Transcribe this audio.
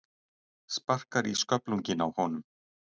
Sparkar í sköflunginn á honum.